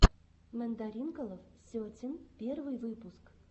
мандаринкалов сетин первый выпуск